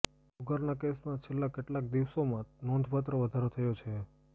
જુગારના કેસમાં છેલ્લાં કેટલાક દિવસોમાં નોંધપાત્ર વધારો થયો છે